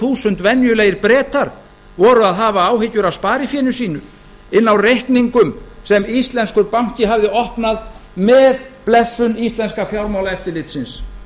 þúsund venjulegir bretar voru að hafa áhyggjur af sparifénu sínu inni á reikningum sem íslenskur banki hafði opnað með blessun íslenska fjármálaeftirlitsins